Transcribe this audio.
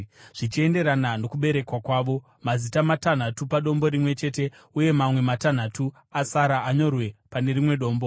zvichienderana nokuberekwa kwavo, mazita matanhatu padombo rimwe chete uye mamwe matanhatu asara anyorwe pane rimwe dombo.